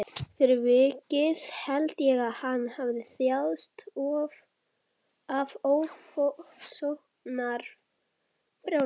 Fyrir vikið held ég að hann hafi þjáðst af ofsóknarbrjálæði.